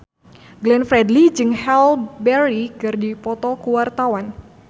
Glenn Fredly jeung Halle Berry keur dipoto ku wartawan